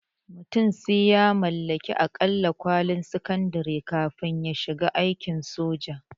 Mutum sai ya mallaki aƙalla kwalin sakandare kafin ya shiga aikin soja